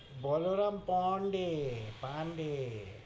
Balaram Pandey, Pandey,